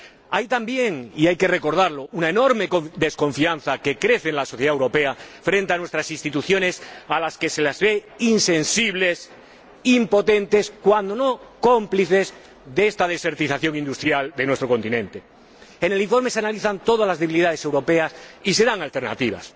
Hay también y hay que recordarlo una enorme desconfianza, que crece en la sociedad europea, con respecto a nuestras instituciones, a las que se ve insensibles, impotentes, cuando no cómplices de esta desertización industrial de nuestro continente. En el informe se analizan todas las debilidades europeas y se dan alternativas.